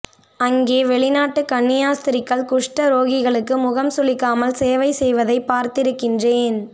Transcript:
அங்கே வெளிநாட்டு கன்னியாஸ்த்ரீகள் குஷ்ட ரோகிகளுக்கு முகம் சுளிக்காமல் சேவை செய்வதைப் பார்த்திருக்கின்றேன்